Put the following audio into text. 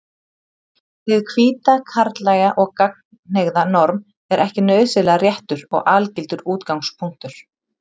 Hið hvíta, karllæga og gagnkynhneigða norm er ekki nauðsynlega réttur og algildur útgangspunktur.